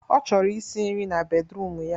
Ọ chọrọ isi nri na bedruum ya